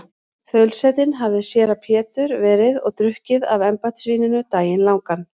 Þaulsetinn hafði séra Pétur verið og drukkið af embættisvíninu daginn langan.